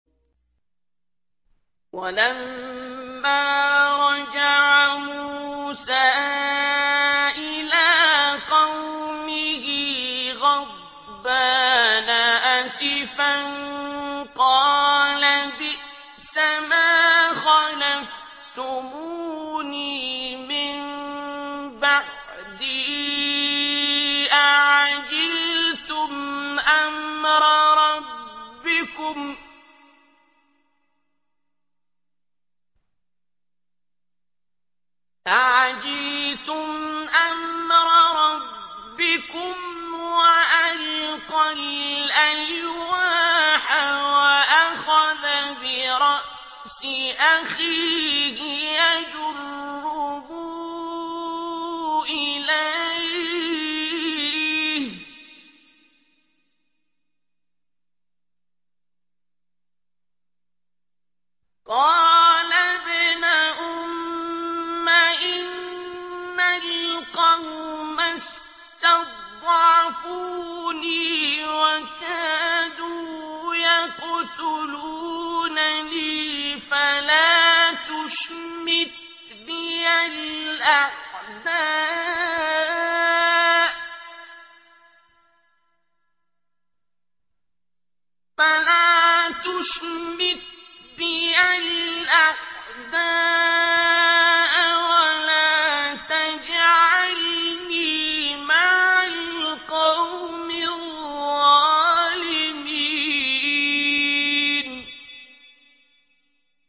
وَلَمَّا رَجَعَ مُوسَىٰ إِلَىٰ قَوْمِهِ غَضْبَانَ أَسِفًا قَالَ بِئْسَمَا خَلَفْتُمُونِي مِن بَعْدِي ۖ أَعَجِلْتُمْ أَمْرَ رَبِّكُمْ ۖ وَأَلْقَى الْأَلْوَاحَ وَأَخَذَ بِرَأْسِ أَخِيهِ يَجُرُّهُ إِلَيْهِ ۚ قَالَ ابْنَ أُمَّ إِنَّ الْقَوْمَ اسْتَضْعَفُونِي وَكَادُوا يَقْتُلُونَنِي فَلَا تُشْمِتْ بِيَ الْأَعْدَاءَ وَلَا تَجْعَلْنِي مَعَ الْقَوْمِ الظَّالِمِينَ